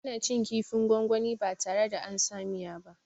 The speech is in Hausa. Ana cin kifin gwangwani ba tare da ansa a miya ba